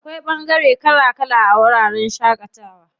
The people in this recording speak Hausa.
Akwai ɓangare kala kala a wajen shaƙatawa.